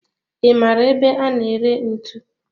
I maara ebe a na ere ntu?